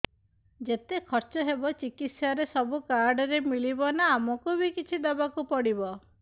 ଯେତେ ଖର୍ଚ ହେବ ଚିକିତ୍ସା ରେ ସବୁ କାର୍ଡ ରେ ମିଳିଯିବ ନା ଆମକୁ ବି କିଛି ଦବାକୁ ପଡିବ